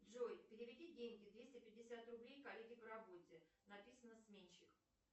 джой переведи деньги двести пятьдесят рублей коллеге по работе написано сменщик